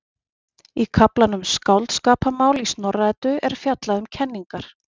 Í kaflanum Skáldskaparmál í Snorra-Eddu er fjallað um kenningar.